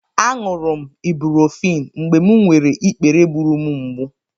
Aṅụrụ m ibuprofen mgbe m nwere ikpere gburu m mgbù.